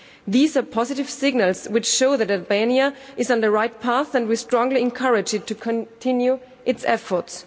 These are positive signals which show that Albania is on the right path, and we strongly encourage it to continue its efforts.